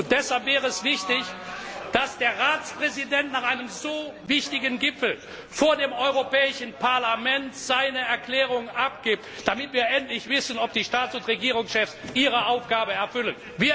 das. Deshalb wäre es wichtig, dass der Ratspräsident nach einem so wichtigen Gipfel vor dem Europäischen Parlament seine Erklärung abgibt, damit wir endlich wissen, ob die Staats und Regierungschefs ihre Aufgabe erfüllen.